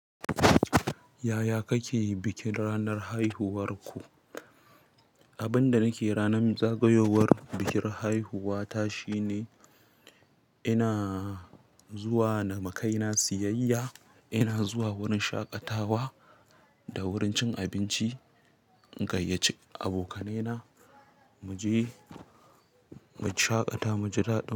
Yaya kake bikin ranar haihuwarku? Abin da nake ranar zagayowar bikin haihuwa ta shine ina zuwa na ma kai na siyayya, ina zuwa wurin shaƙatawa da wurin cin abinci in gayyace abokane na mu je mu shaƙata, mu ji daɗi.